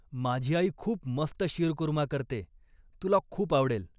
माझी आई खूप मस्त शीरकूर्मा करते, तुला खूप आवडेल.